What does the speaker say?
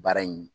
Baara in